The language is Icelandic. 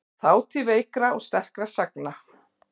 Þátíð veikra og sterkra sagna.